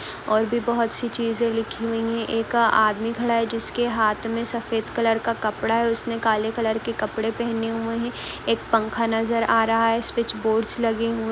और भी बोहुत सी चीजे लिखी हुईं हैं। एक आदमी खड़ा है जिसके हाथ मे सफ़ेद कलर का कपडा है उसने काले कलर के कपड़े पहने हुए हैं। एक पंखा नजर आ रहा है। स्विच बोर्डस लगे हुए --